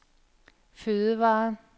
fødevarer